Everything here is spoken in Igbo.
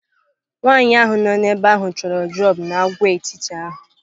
Nwaanyị ahụ nọ ebe ahụ chọrọ droọpu n'Agwaetiti ahụ.